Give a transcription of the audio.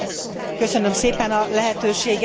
Köszönöm szépen a lehetőséget.